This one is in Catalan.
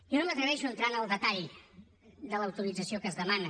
jo no m’atreveixo a entrar en el detall de l’autorització que es demana